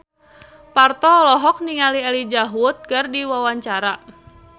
Parto olohok ningali Elijah Wood keur diwawancara